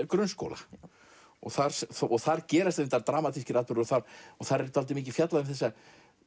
grunnskóla þar þar gerast reyndar dramatískir atburðir og þar þar er dálítið mikið fjallað um þessa